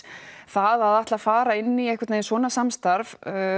það að ætla fara inn í svona samstarf